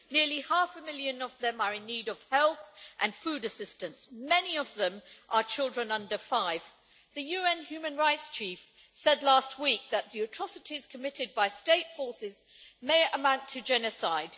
Nearly half a million of them are in need of health and food assistance, and many of them are children under five. The UN Human Rights chief said last week that the atrocities committed by state forces may amount to genocide.